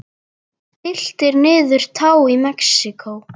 Tylltir niður tá í Mexíkó.